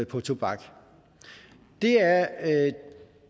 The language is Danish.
på tobak det er